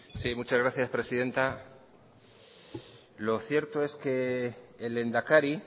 muchas gracias presidenta lo cierto es que el lehendakari